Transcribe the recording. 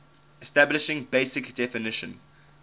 establishing basic definition